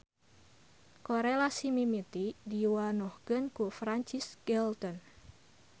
Korelasi mimiti diwanohkeun ku Francis Galton.